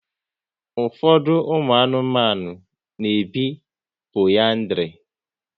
Ụfọdụ ụmụ anụmanụ na ebi poliandri